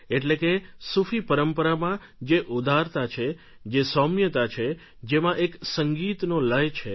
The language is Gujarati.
એટલે કે સૂફી પરંપરામાં જે ઉદારતા છે જે સૌમ્યતા છે જેમાં એક સંગીતનો લય છે